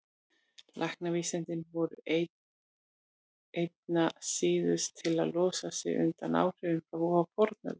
Læknavísindin voru einna síðust til að losa sig undan áhrifum frá fornöld.